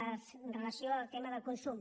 en relació amb el tema del consum